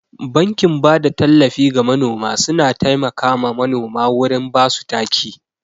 Bankin bada tallafi ga manoma suna taimaka ma manoma wurin basu taki.